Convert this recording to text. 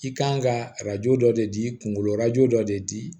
I kan ka arajo dɔ de di kunkolo dɔ de di